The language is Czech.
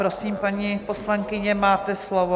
Prosím, paní poslankyně, máte slovo.